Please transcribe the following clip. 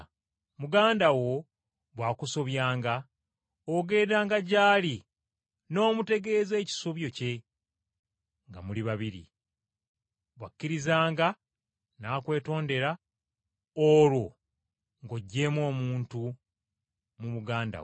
“Muganda wo bw’akusobyanga ogendanga gy’ali n’omutegeeza ekisobyo kye nga muli babiri. Bw’akkirizanga n’akwetondera olwo ng’oggyeemu omuntu mu muganda wo.